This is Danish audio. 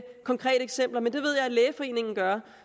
konkrete eksempler men det ved jeg at lægeforeningen gør